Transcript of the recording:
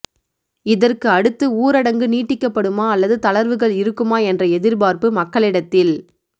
இதற்கு அடுத்து ஊரடங்கு நீட்டிக்கப்படுமா அல்லது தளர்வுகள் இருக்குமா என்ற எதிர்பார்ப்பு மக்களிடத்தில்